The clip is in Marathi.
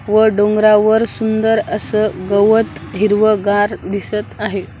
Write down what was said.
वर डोंगरावर सुंदर असं गवत हिरवंगार दिसत आहे.